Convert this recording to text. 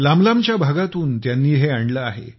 लांबलांबच्या भागातून त्यांनी हे आणले आहे